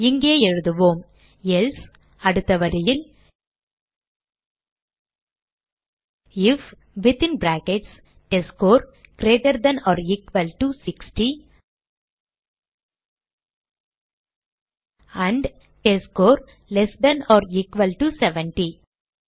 இங்கே எழுதுவோம் எல்சே அடுத்த வரியில் if within brackets test score greater than or equal to 60 and test score less than or equal to 70